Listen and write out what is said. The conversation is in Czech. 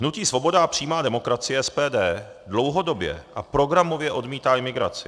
Hnutí Svoboda a přímá demokracie, SPD, dlouhodobě a programově odmítá imigraci.